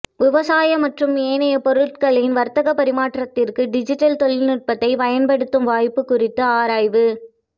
விவசாய மற்றும் ஏனைய பொருட்களின் வர்த்தக பரிமாற்றத்திற்கு டிஜிடல் தொழிநுட்பத்தை பயன்படுத்தும் வாய்ப்பு குறித்து ஆராய்வு